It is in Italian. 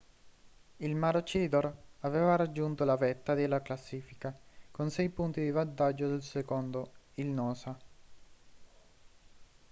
il maroochydore aveva raggiunto la vetta della classifica con sei punti di vantaggio sul secondo il noosa